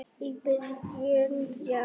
í byrjun janúar.